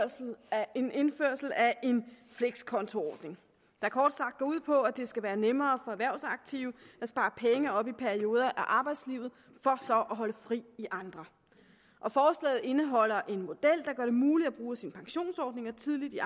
en en flekskontoordning der kort sagt går ud på at det skal være nemmere for erhvervsaktive at spare penge op i perioder af arbejdslivet for så at holde fri i andre forslaget indeholder en model der gør det muligt at bruge sine pensionsordninger tidligt i